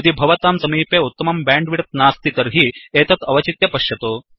यदि भवतां समीपे उत्तमं बैण्डविड्थ नास्ति तर्हि एतत् अवचित्य पश्यतु